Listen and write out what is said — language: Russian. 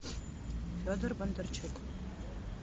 федор бондарчук